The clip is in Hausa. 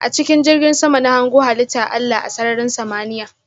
A chikin jirgin sama na hango halitta Allah a sarrarin samaniya.